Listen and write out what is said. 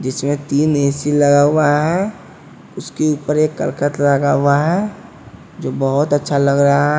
जिसमें तीन ए_सी_ लगा हुआ है उसके ऊपर एक करकत लगा हुआ है जो बहुत अच्छा लग रहा--